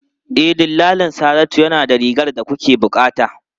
E, dillalin Saratu yana da rigar da kuke bukata.